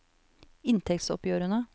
inntektsoppgjørene